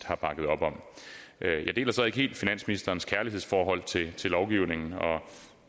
har bakket op om jeg deler så ikke helt finansministerens kærlighedsforhold til til lovgivningen og